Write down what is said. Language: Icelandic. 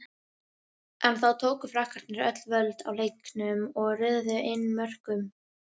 En þá tóku Frakkarnir öll völd á leiknum og röðuðu inn mörkum.